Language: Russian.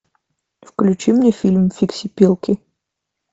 включи мне фильм фиксипелки